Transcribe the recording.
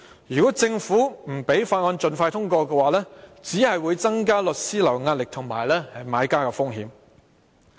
如果政府不讓《條例草案》盡快通過，只會增加律師行的壓力和買家的風險。